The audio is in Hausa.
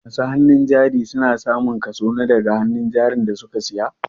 Masu hannun jari su na samun kaso na daga hannun jarin da su ka saya.